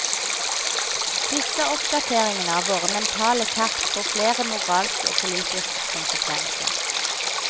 Disse oppdateringene av våre mentale kart får flere moralske og politiske konsekvenser.